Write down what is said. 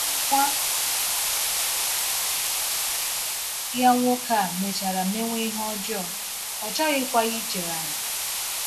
Nwa ya nwoke a mechara mewe ihe ọjọọ, ọ chọghịkwa ichegharị.